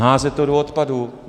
Házet to do odpadu.